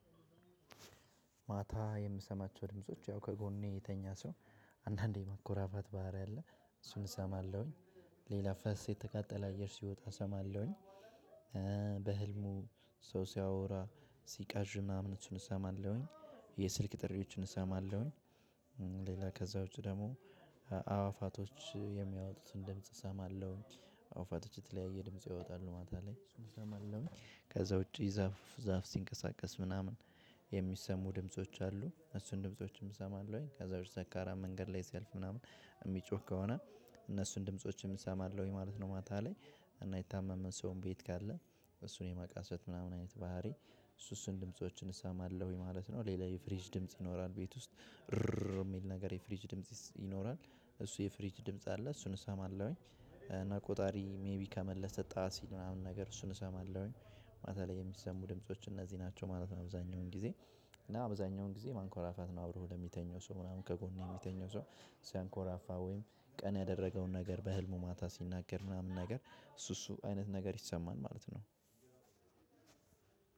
ማታ የምሰማቸው ድምጾች ያው ከጎኔ የተኛ ሰው አንዳንዴ ማንኮራፋት ባህሪ አለ እሱን እሰማለሁኝ። ሌላ ፈስ የተቃጠለ አየር ሲወጣ እሰማለሁኝ። በህልሙ ሰው ሲያወራ ሲቃዥና እምነት እሰማለሁኝ። የስልክ ጥሪዎችን እሰማለሁኝ። ሌላ ከዛ ውጭ ደግሞ አዋፋቶች የሚያወጡትን ድምጽ እሰማለሁ። አዋፋቶች የተለያየ ድምጽ ያወጣሉ ማታ ላይ እሱን እሰማለሁኝ። ከዛ ውጪ ዛፍ ዛፍ ሲንቀሳቀስ ምናምን የሚሰሙ ድምጾች አሉ እሱን ድምፆችም እሰማለሁኝ። ከዛ በፊት ሰካራም መንገድ ላይ ሲልፍ ምናምን እሚጮህ ከሆነ እነሱን ድምፆችን ይሰማለሁኝ ማለት ነው። ማታ ላይ እና የታመመን ሰውን ቤት ካለ እሱን የማቃሰት ምናምን አይነት ባህሪ እሱ እሱን ድምፆችን እሰማለሁኝ ማለት ነው። ሌላ የፍሪጅ ድምጽ ይኖራል ቤት ውስጥ የሚል ነገር የፍሪጅ ድምጽ ይኖራል እሱ የፍሪጅ ድምጽ አለ እሱን እሰማለሁኝ። እና ቆጣሪ ሜቢ ከመለሰ ጣሲል ምናምን ነገር እሱን እሰማለሁኝ። ማታ ላይ የሚሰሙ ድምጾች እነዚህ ናቸው ማለት ነው። አብዛኛውን ጊዜ እና አብዛኛውን ጊዜ ማንኮራፋት ነው። አብሮ ለሚተኘው ሰው ምናምን ከጎኔ የሚተኛው ሰው ሲያንኮራፋ ወይም ቀን ያደረገውን ነገር በህልሙ ማታ ሲናገር ምናምን ነገር እሱ እሱ አይነት ነገር ይሰማን ማለት ነው።